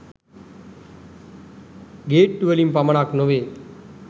ගේට්ටු වලින් පමණක් නොවේ.